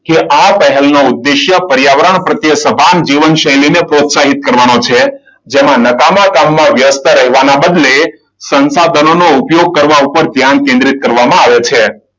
કે આ પહેલું ઉદ્દેશ્ય પર્યાવરણ પ્રત્યે સભાન જીવનશૈલીને પ્રોત્સાહિત કરવાનું છે. જેમાં નકામા કામમાં વ્યસ્ત રહેવાના બદલે સંસાધનો ઉપયોગ કરવા ઉપર ધ્યાન કેન્દ્રિત કરવામાં આવે છે.